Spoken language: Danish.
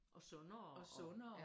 Og sundere